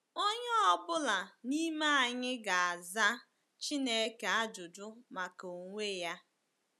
“Onye ọ bụla n’ime anyị ga-aza Chineke ajụjụ maka onwe ya.”